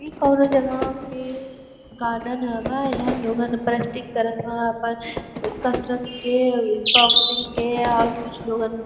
इ कौनों जगां के गार्डन । यहाँँ लोगन प्रस्टिक करत हवं आपन न्-कसरत के अ-बॉक्सिंग के और कुछ लोगन --